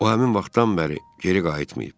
O həmin vaxtdan bəri geri qayıtmayıb.